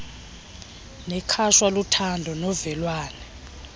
nekhatshwa luthando novelwano